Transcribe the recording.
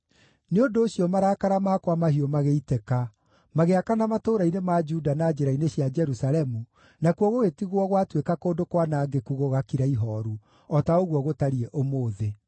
Nĩ ũndũ ũcio, marakara makwa mahiũ magĩitĩka; magĩakana matũũra-inĩ ma Juda na njĩra-inĩ cia Jerusalemu, nakuo gũgĩtigwo gwatuĩka kũndũ kwanangĩku gũgakira ihooru, o ta ũguo gũtariĩ ũmũthĩ.